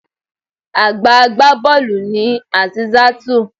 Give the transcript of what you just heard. Àgbà agbá bọ́ọ̀lù ni Azeezatu.